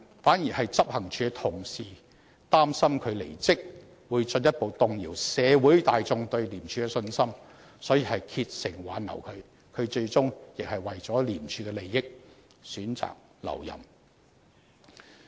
反而執行處的同事擔心他離職會進一步動搖社會大眾對廉署的信心，所以竭誠挽留他，他最終亦為了廉署的利益，選擇留任。